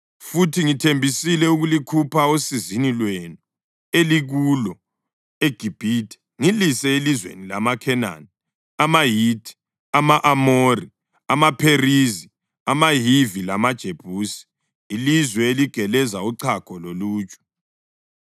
Futhi ngithembisile ukulikhupha osizini lwenu elikulo eGibhithe ngilise elizweni lamaKhenani, amaHithi, ama-Amori, amaPherizi, amaHivi lamaJebusi, ilizwe eligeleza uchago loluju.’